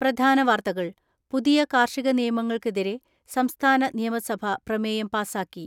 പ്രധാന വാർത്തകൾ പുതിയ കാർഷിക നിയമങ്ങൾക്കെതിരെ സംസ്ഥാന നിയമസഭ പ്രമേയം പാസാക്കി.